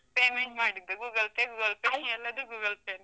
Payment ಮಾಡಿದ್ದು, Google Pay, Google Pay , ಎಲ್ಲದು Google Pay.